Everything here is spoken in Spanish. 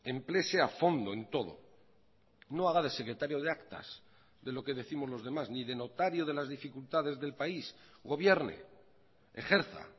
empléese a fondo en todo no haga de secretario de actas de lo que décimos los demás ni de notario de las dificultades del país gobierne ejerza